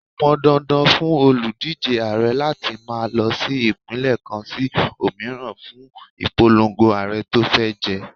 Ó pọn dandan fún òlùdíje Ààrẹ láti máa lọ sí Ìpínlẹ̀ kan sí òmíràn fún ìpolongo Ààrẹ tó fẹ́ jẹ.